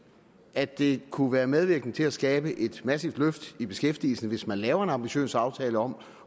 at det kunne være medvirkende til at skabe et massivt løft i beskæftigelsen hvis man laver en ambitiøs aftale om